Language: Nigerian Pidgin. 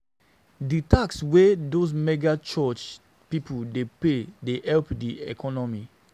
Di tax wey dese mega church pipo dey pay dey help di economy.